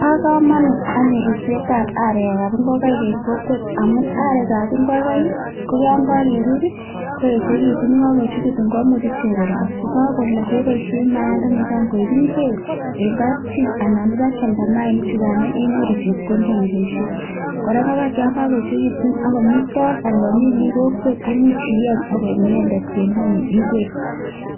Bo kamanut anyun ripsetab arekab ingokaik eng kokwet amu arekab ingokaik ko yon kakerib koechekitu yen kakoyechitu komuch ichek kolok ye kakolok kemuch keboishe mayaindani koek ingwek eng kapchi anan ipkealda mayaichukan inyoru chepkondok ak iboishen. Kora ngokaik yon kakoechekitu ako komi toon anan kamin kokwet imuch ieny ak koek inendek bendonyi ingwek